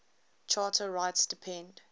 charter rights depend